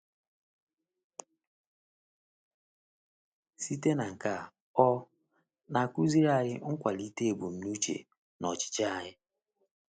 Site na nke a, ọ na-akụziri anyị ịkwalite ebumnuche na ọchịchọ anyị.